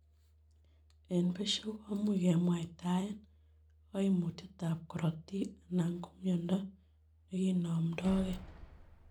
En besio, komuch kemwaitaen koimutietab korotik alan komiondo neginomdogei.